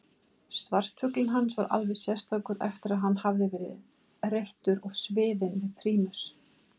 Svartfuglinn hans var alveg sérstakur eftir að hann hafði verið reyttur og sviðinn við prímus.